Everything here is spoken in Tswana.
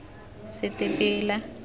setebela